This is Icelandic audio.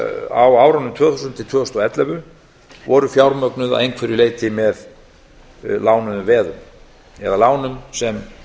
á árunum tvö þúsund til tvö þúsund og ellefu voru fjármögnuð að einhverju leyti með lánuðum veðum eða lánum sem